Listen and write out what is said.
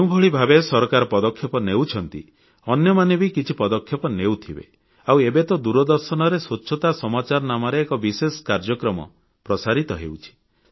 ଯେଉଁଭଳି ଭାବେ ସରକାର ପଦକ୍ଷେପ ନେଉଛନ୍ତି ଅନ୍ୟମାନେ ବି କିଛି ପଦକ୍ଷେପ ନେଉଥିବେ ଆଉ ଏବେ ତ ଦୂରଦର୍ଶନରେ ସ୍ୱଚ୍ଛତା ସମାଚାର ନାମରେ ଏକ ବିଶେଷ କାର୍ଯ୍ୟକ୍ରମ ପ୍ରସାରିତ ହେଉଛି